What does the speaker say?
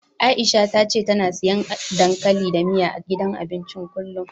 Aisha ta ce tana siyan dankali da miya, a gidan abincin kullum.